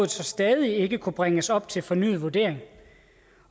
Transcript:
så stadig ikke kunne bringes op til fornyet vurdering